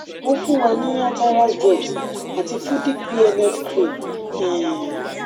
won fun wa ní atarax drops ati fudic bnf cream um